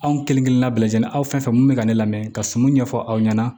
Anw kelenkelenna bɛɛ lajɛlen aw fɛn fɛn fɛ mun bɛ ka ne lamɛn ka sumun ɲɛfɔ aw ɲɛna